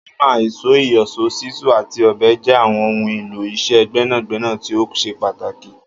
Ámà, ìs̩ó, ìyò̩s̩ó, s̩ísù àti ò̩be̩ jé̩ àwo̩n ohun èlò is̩é̩ gbé̩nàgbé̩nà tí ó s̩e pàtàkì